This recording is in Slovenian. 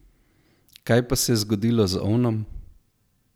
Kaj pa se je zgodilo z ovnom?